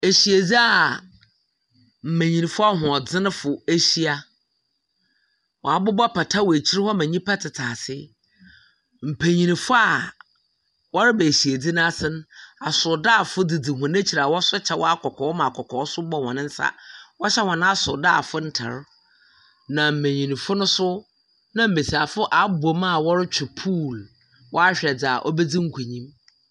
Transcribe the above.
Asiedzi mmenyinfo ahoɔdzenfo ahyia. Wɔabobɔ pata wɔ akyir ma nnipa tete ase. Mpenyimfo wɔreba asiedze n'ase no, asɔɔdafo dzidzi akyir a wɔso kyɛw akɔkɔɔ ma akɔkɔɔ nso bɔ hɔn asɔɔdaa ntar. Na mbenyinfo ne mbesiafo wɔabom wɔretwi pool wɔahwɛ dzaa obedzi nkunyim.